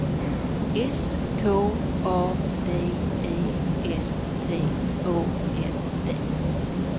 S K A D E S T Å N D